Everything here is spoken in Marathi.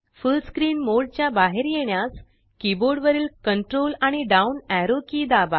फुल्ल स्क्रीन मोड च्या बाहेर येण्यास कीबोर्ड वरील Ctrl आणि डाउन एरो की दाबा